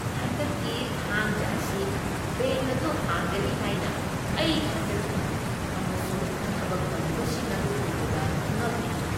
ꯍꯟꯗꯛꯀꯤ ꯊꯥꯡꯖꯥ ꯑꯁꯤ ꯕꯦꯡꯛ ꯑꯗꯨ ꯍꯥꯡꯒꯅꯤ ꯍꯥꯏꯅ ꯑꯩ ꯊꯥꯖꯈꯤꯗꯦ ꯑꯃꯁꯨꯡ ꯊꯕꯛ ꯇꯧꯔꯤꯕꯁꯤꯡ ꯑꯗꯨ ꯎꯕꯗ ꯉꯛꯈꯤ ꯫